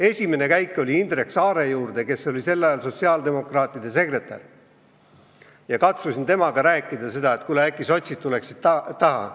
Esimene käik oli Indrek Saare juurde, kes oli sel ajal sotsiaaldemokraatide sekretär, ja katsusin temaga rääkida et äkki sotsid tuleksid taha.